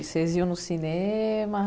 Vocês iam no cinema?